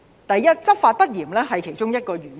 第一，執法不嚴是其中一個原因。